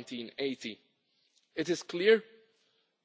of 1980. It is clear